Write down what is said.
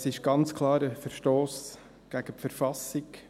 Es ist ganz klar ein Verstoss gegen die Verfassung.